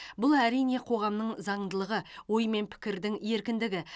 бұл әрине қоғамның заңдылығы ой мен пікірдің еркіндігі